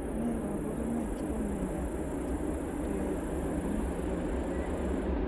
Ne kaparunoik chepo miondap chylpmicron